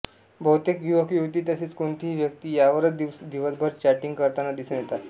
बहुतेक युवकयुवती तसेच कोणतीही व्यक्ती यावरच दिवसभर चॅटिंग करतांना दिसून येतात